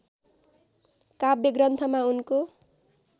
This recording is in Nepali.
काव्य ग्रन्थमा उनको